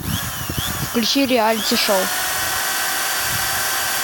включи реалити шоу